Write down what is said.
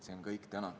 See on täna kõik.